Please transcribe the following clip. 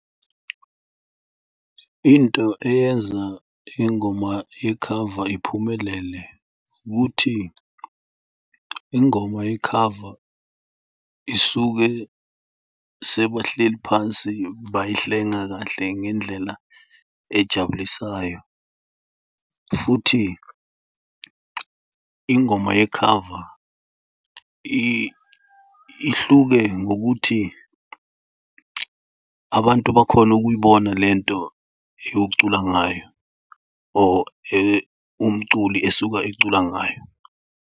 Into eyenza ingoma yekhava iphumelele ukuthi ingoma yekhava isuke sebahleli phansi bayihlenga kahle ngendlela ejabulisayo futhi ingoma yekhava ihluke ngokuthi abantu bakhona ukuyibona le nto yokucula ngayo or umculi esuka ecula ngayo.